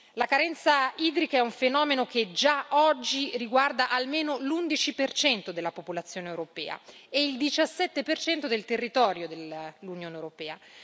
La carenza idrica è un fenomeno che già oggi riguarda almeno l'11 della popolazione europea e il 17 del territorio dell'Unione europea.